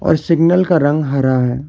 और सिग्नल का रंग हरा है।